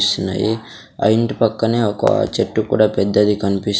సున్నాయి ఆ ఇంటి పక్కనే ఒక చెట్టు కూడా పెద్దది కన్పిస్--